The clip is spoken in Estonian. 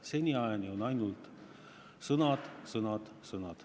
Seniajani on olnud ainult sõnad, sõnad, sõnad.